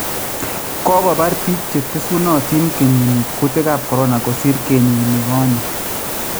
Kokobaar biik cheteesunotin kenyiini kutikaab corona kosiir kenyiinikoonye